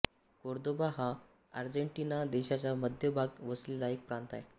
Cordoba हा Argentina देशाच्या मध्य भागात वसलेला एक प्रांत आहे